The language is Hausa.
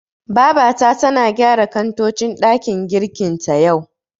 Babata tana gyara kantocin ɗakin girkin ta, yau.